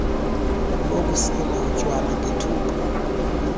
bokusela utywala ngethuba